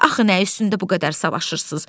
Axı nə üstündə bu qədər savaşırsız?